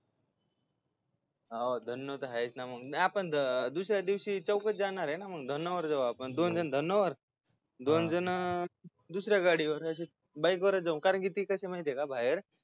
हा धन्नो तर आहे की आपण दुस-या दिवशी चौघच जाणारय ना मग धन्नोवर दोन जण धन्नोवर दोन जण दुस-या गाडीवर बाईक वरच जाऊ कारण की ते कस का बाहेर